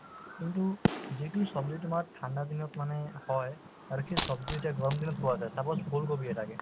কিন্তু যিটো ছব্জি তোমাৰ ঠাণ্ডা দিনত মানে হয় আৰু সেই ছব্জি এতিয়া গৰম দিনত পোৱা যায় চাবাচোন ওলকবি এটাকে